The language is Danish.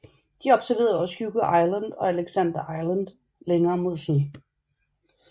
De observerede også Hugo Island og Alexander Island længere mod syd